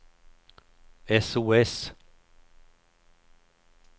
sos